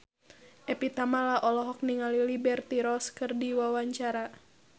Evie Tamala olohok ningali Liberty Ross keur diwawancara